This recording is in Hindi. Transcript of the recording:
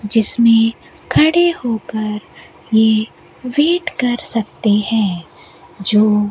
जिसमें खड़े होकर ये वेट कर सकते हैं जो --